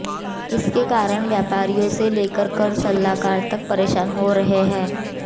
इसके कारण व्यापारियों से लेकर कर सलाहकार तक परेशान हो रहे हैं